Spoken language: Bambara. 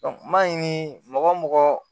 ni mɔgɔ o mɔgɔ